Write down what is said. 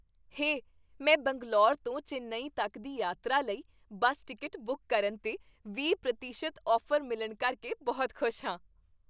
ਹੇ! ਮੈਂ ਬੰਗਲੌਰ ਤੋਂ ਚੇਨੱਈ ਤੱਕ ਦੀ ਯਾਤਰਾ ਲਈ ਬੱਸ ਟਿਕਟ ਬੁੱਕ ਕਰਨ 'ਤੇ ਵੀਹ ਪ੍ਰਤੀਸ਼ਤ ਔਫ਼ਰ ਮਿਲਣ ਕਰਕੇ ਬਹੁਤ ਖੁਸ਼ ਹਾਂ।